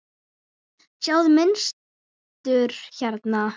Sjáiði mynstur hérna?